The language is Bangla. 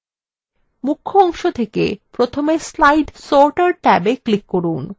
মুখ্য অংশ থেকে প্রথমে slide sorter tab click from